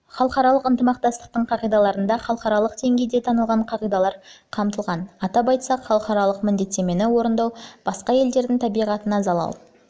халықаралық ынтымақтастықтың қағидаларында халықаралық деңгейде танылған қағидалар қамтылған атап айтсақ халықаралық міндеттемені орындау басқа елдердің табиғатына залал